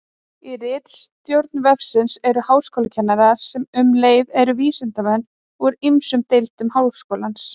Í ritstjórn vefsins eru háskólakennarar, sem um leið eru vísindamenn, úr ýmsum deildum Háskólans.